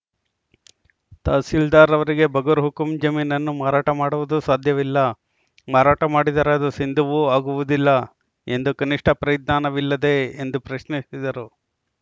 ತಹಸೀಲ್ದಾರ್‌ರವರಿಗೆ ಬಗರ್‌ ಹುಕುಂ ಜಮೀನನ್ನು ಮಾರಾಟ ಮಾಡುವುದು ಸಾಧ್ಯವಿಲ್ಲ ಮಾರಾಟ ಮಾಡಿದರೆ ಅದು ಸಿಂಧುವೂ ಆಗುವುದಿಲ್ಲ ಎಂದು ಕನಿಷ್ಠ ಪರಿಜ್ಞಾನವಿಲ್ಲದೇ ಎಂದು ಪ್ರಶ್ನಿಸಿದರು